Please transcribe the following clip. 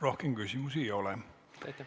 Rohkem küsimusi ei ole.